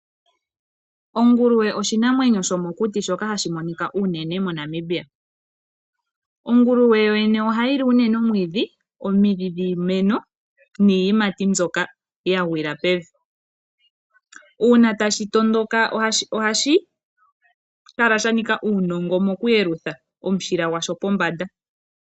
Onguluwe oshinamwenyo sho mokuti shoka hashi monika unene MoNamibia. Onguluwe yo yene oha yili unene omwiidhi, omidhi dhiimeno, nii yimati mbyoka ya gwila pevi. Uuna tashi tondoka ohashi kala sha nika uunongo washo mo ku yelutha omushila gwasho po mbanda.